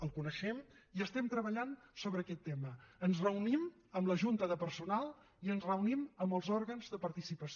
el coneixem i estem treballant en aquest tema ens reunim amb la junta de personal i ens reunim amb els òrgans de participació